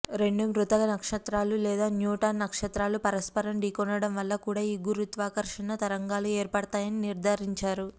రెండు మృత నక్షత్రాలు లేదా న్యూట్రాన్ నక్షత్రాలు పరస్పరం ఢీకొనడం వల్ల కూడా ఈ గురుత్వాకర్షణ తరంగాలు ఏర్పడతాయని నిర్ధారించారు